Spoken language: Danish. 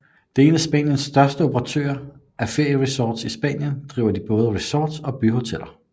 Det er en af Spaniens største operatører af ferieresorts I Spanien driver de både resorts og byhoteller